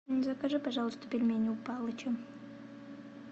закажи пожалуйста пельмени у палыча